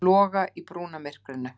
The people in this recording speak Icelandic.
Loga í brúnamyrkrinu.